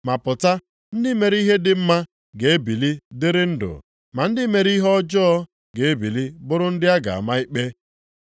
ma pụta, ndị mere ihe dị mma ga-ebili dịrị ndụ. Ma ndị mere ihe ọjọọ ga-ebili bụrụ ndị a ga-ama ikpe.